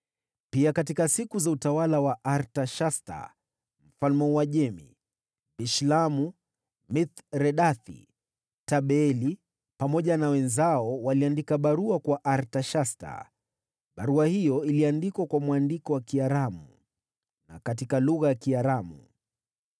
Pia katika siku za utawala wa Artashasta mfalme wa Uajemi, Bishlamu, Mithredathi, Tabeeli pamoja na wenzao waliandika barua kwa Artashasta. Barua hiyo iliandikwa kwa mwandiko wa Kiaramu na katika lugha ya Kiaramu.